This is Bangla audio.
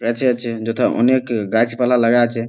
কাছে আছে যথা অনেক গাছ পালা লাগা আছে --